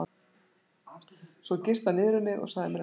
Svo girti hann niður um mig og sagði mér að leggjast.